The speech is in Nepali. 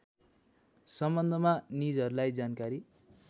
सम्बन्धमा निजहरूलाई जानकारी